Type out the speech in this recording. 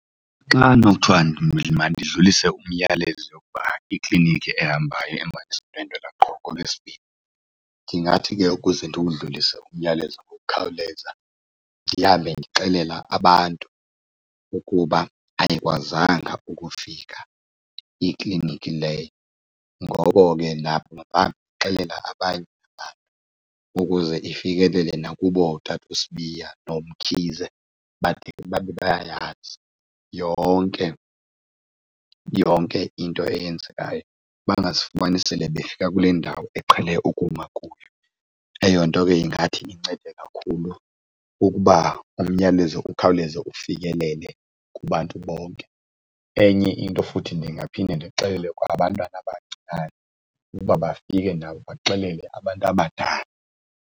Xa kunokuthiwa mandidlulise umyalezo wokuba ikliniki ehambayo ihamba nesibhedlela qho ngooLwezibini, ndingathi ke ukuze ndiwudlulise umyalezo ngokukhawuleza ndihambe ndixelela abantu ukuba ayikwazanga ukufika ikliniki leyo. Ngoko ke nabo mabaxelele nabanye abantu ukuze ifikelele nakubo tata uSibiya nooMkhize bade babe bayayazi yonke yonke into eyenzekayo, bangazifumani sele befika kule ndawo eqhele ukuma kuyo. Eyo nto ke ingathi incede kakhulu ukuba umyalezo ukhawuleze ufikelele kubantu bonke. Enye into futhi ndingaphinda ndixelele abantwana abancinane ukuba bafike nabo baxelele abantu abadala.